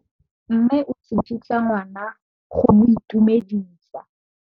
Mme o tsikitla ngwana go mo itumedisa.